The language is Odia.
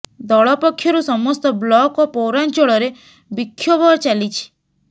ଦଳ ପକ୍ଷରୁ ସମସ୍ତ ବ୍ଲକ ଓ ପୌରାଞ୍ଚଳରେ ବିକ୍ଷୋଭ ଚାଲିଛି